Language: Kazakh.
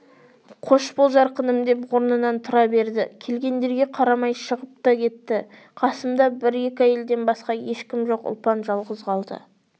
қош бол жарқыным деп орнынан тұра берді келгендерге қарамай шығып та кетті қасымда бір-екі әйелден басқа ешкім жоқ ұлпан жалғыз қалды